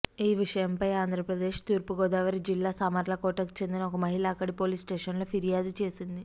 ఈ విషయంపై ఆంధ్రప్రదేశ్ తూర్పుగోదావరి జిల్లా సామర్లకోటకు చెందిన ఒక మహిళ అక్కడి పోలీస్స్టేషన్లో ఫిర్యాదు చేసింది